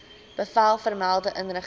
bevel vermelde inrigting